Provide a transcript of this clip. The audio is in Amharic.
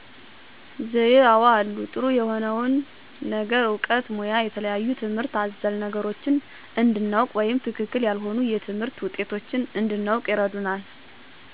ዘዬ አወ አሉ። ጥሩ የሆነውን ነገር እውቀት ሙያ የተለያዩ ትምህርት አዘል ነገሮችን እንድናውቅ ወይም ትክክል ያልሆኑ የትምህርት ውጤቶች እንድናውቅ ይረዱናል።